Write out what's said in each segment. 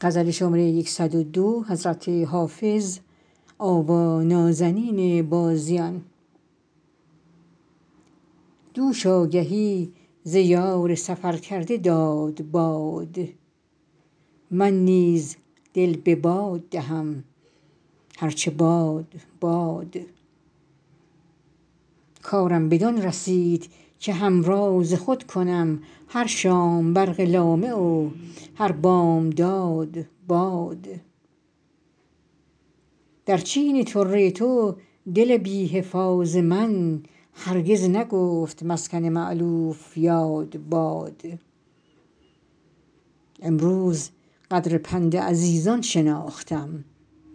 دوش آگهی ز یار سفر کرده داد باد من نیز دل به باد دهم هر چه باد باد کارم بدان رسید که همراز خود کنم هر شام برق لامع و هر بامداد باد در چین طره تو دل بی حفاظ من هرگز نگفت مسکن مألوف یاد باد امروز قدر پند عزیزان شناختم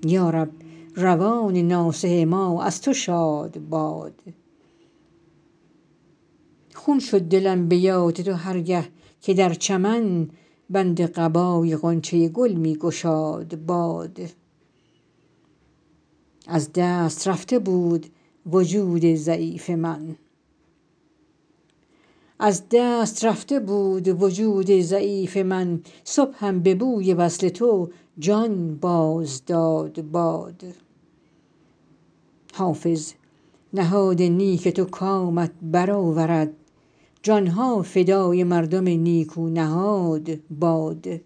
یا رب روان ناصح ما از تو شاد باد خون شد دلم به یاد تو هر گه که در چمن بند قبای غنچه گل می گشاد باد از دست رفته بود وجود ضعیف من صبحم به بوی وصل تو جان باز داد باد حافظ نهاد نیک تو کامت بر آورد جان ها فدای مردم نیکو نهاد باد